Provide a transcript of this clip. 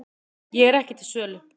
Ég er ekki til sölu